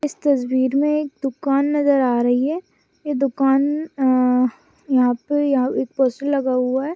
इस तस्वीर मे एक दुकान नजर आ रही है ये दुकान यहाँ पे एक पोस्टर लगा हुआ है।